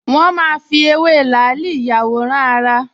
Wọ́n máa ń fi ewé làálì ìyàwòrán-ara